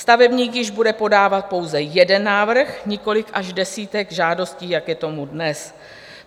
Stavebník již bude podávat pouze jeden návrh, nikoliv až desítky žádostí, jak je tomu dnes.